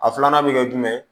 A filanan bɛ kɛ jumɛn ye